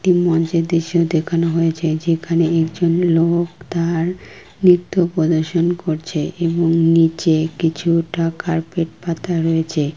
একটি মঞ্চেরদৃশ্য দেখানো হয়েছে যেখানে একজন লোক তার নিত্য প্রদর্শন করছে এবং নিচে কিছু টাকার পেট পাতা রয়েছে।